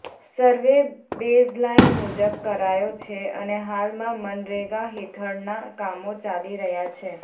survey baseline મુજબ કરાયો છે અને હાલમાં મનરેગા હેઠળના કામો ચાલી રહ્યા છે